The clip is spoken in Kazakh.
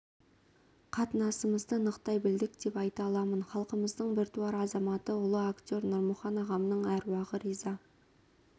қатынасымызды нықтай білдік деп айта аламын халқымыздың біртуар азаматы ұлы актер нұрмұхан ағамның әруағы риза